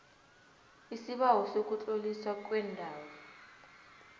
isibawo sokutloliswa kwendawo